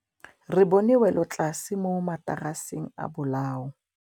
Re bone wêlôtlasê mo mataraseng a bolaô.